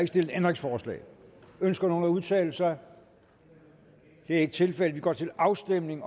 stillet ændringsforslag ønsker nogen at udtale sig det er ikke tilfældet vi går til afstemning